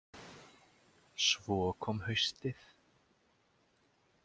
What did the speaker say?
Svo kom haustið.